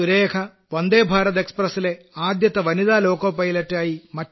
സുരേഖ വന്ദേ ഭാരത് എക്സ്പ്രസിലെ ആദ്യത്തെ വനിതാ ലോക്കോ പൈലറ്റായി